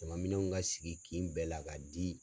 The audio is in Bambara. Ɲaman minɛnw ka sigi kin bɛɛ la ka di